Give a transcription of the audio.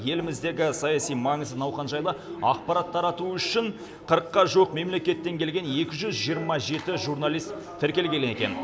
еліміздегі саяси маңызды науқан жайлы ақпарат тарату үшін қырыққа жуық мемлекеттен келген екі жүз жиырма жеті журналист тіркелген екен